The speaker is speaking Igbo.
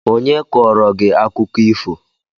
Onye kọọrọ gị akụkọ ifo?